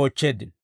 oochcheeddino.